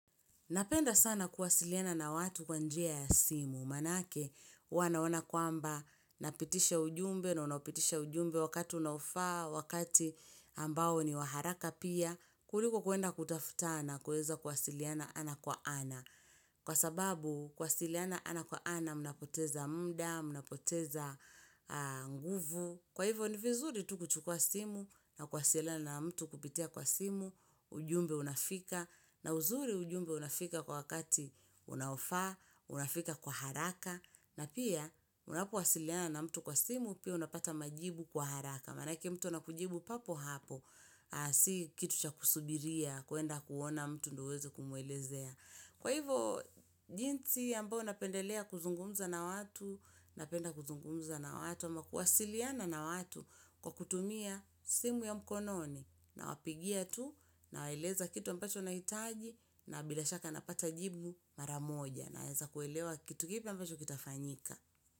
Napenda sana kuwasiliana na watu kwa njia ya simu, maanake wanaona kwamba napitisha ujumbe na unapitisha ujumbe wakati unaofaa, wakati ambao ni wa haraka pia, kuliko kwenda kutafutana kuweza kuwasiliana ana kwa ana. Kwa sababu kwasiliana ana kwa ana mnapoteza muda, mnapoteza nguvu. Kwa hivyo ni vizuri tu kuchukua simu na kwasiliana na mtu kupitia kwa simu, ujumbe unafika na uzuri ujumbe unafika kwa wakati unaofaa, unafika kwa haraka. Na pia, unapowasiliana na mtu kwa simu, pia unapata majibu kwa haraka. Maanake mtu anakujibu papo hapo, si kitu cha kusubiria, kwenda kuona mtu ndo uweze kumuelezea. Kwa hivo, jinsi ambavyo napendelea kuzungumza na watu, napenda kuzungumza na watu, ama kuwasiliana na watu kwa kutumia simu ya mkononi. Nawapigia tu, nawaeleza kitu ambacho nahitaji, na bila shaka napata jibu maramoja. Naeza kuelewa kitu kipi ambacho kitafanyika.